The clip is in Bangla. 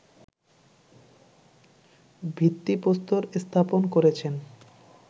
ভিত্তিপ্রস্তর স্থাপন করেছেন